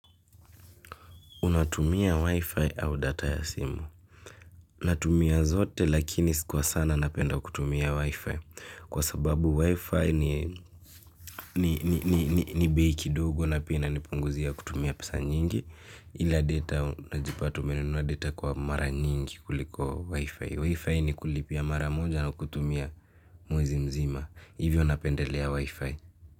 Unatumia Wi-Fi au data ya simu. Unatumia zote lakini sikuwa sana napenda kutumia Wi-Fi. Kwa sababu Wi-Fi ni bei kidogo na pia inanipunguzia kutumia pesa nyingi. Ila data unajipata menunua data kwa mara nyingi kuliko Wi-Fi. Wi-Fi ni kulipia mara moja na kutumia mwezi mzima. Hivyo napendelea Wi-Fi.